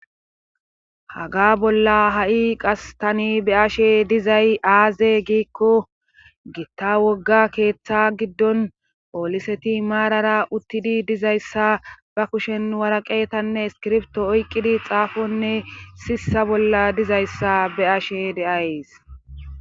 haga bolla ha7i qas tani be'ashe dizay aaze giikko giitta wogga keeththa giddon ooliseti maarara uttidi dizayssa ba kushen waraqetanne skirfto oyqqidi xaafonne sissa bolla dizayssa be ashe deayys